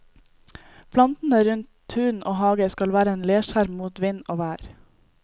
Plantene rundt tun og hage skal være en leskjerm mot vind og vær.